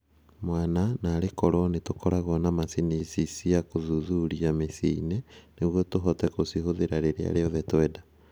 Mwana- "Naarĩ korũo nĩ tũkoragwo na macini ici cia gũthuthuria mĩciĩ-inĩ nĩguo tũhote gũcihũthĩra rĩrĩa rĩothe twenda"